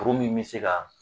Kuru min be se ka